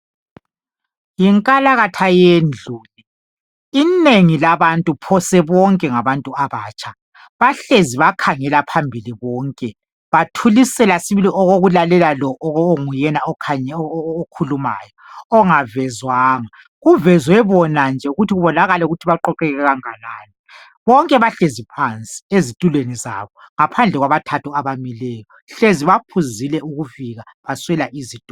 Yinkalakatha yendlu. Inengi labantu, phose bonke ngabantu abatsha. Bahlezi bakhangela phambili bonke, bathulisela sibili okokulalela lo onguyena okhulumayo ongavezwanga. Kuvezwe bona nje ukuthi kubonakale ukuthi baqoqeke kanganani. Bonke bahlezi phansi ezitulweni zabo, ngaphandle kwabathathu abamileyo, hlezi baphuzile ukufika baswela izitulo.